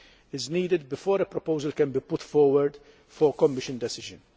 is needed before a proposal can be put forward for a Commission decision.